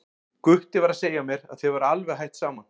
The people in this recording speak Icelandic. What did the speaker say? Gutti var að segja mér að þið væruð alveg hætt saman.